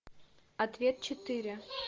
ответ четыре